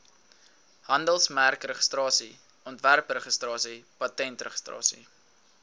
handelsmerkregistrasie ontwerpregistrasie patentregistrasie